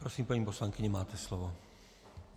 Prosím, paní poslankyně, máte slovo.